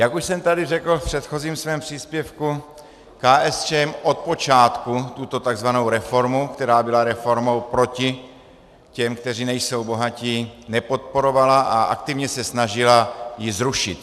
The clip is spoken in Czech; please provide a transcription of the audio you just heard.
Jak už jsem tady řekl v předchozím svém příspěvku, KSČM od počátku tuto tzv. reformu, která byla reformou proti těm, kteří nejsou bohatí, nepodporovala a aktivně se snažila ji zrušit.